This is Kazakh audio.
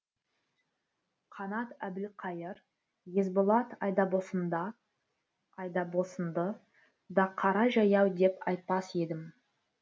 қанат әбілқайыр есболат айдабосында айдабосынды да қара жаяу деп айтпас едім